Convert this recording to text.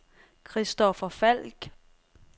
Kristoffer Falk